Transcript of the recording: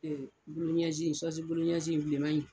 Ɛɛ buluɲɛsin in sɔsi buluɲɛsin in bilenman in.